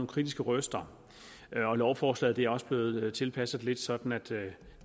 kritiske røster lovforslaget er også blevet tilpasset lidt sådan at det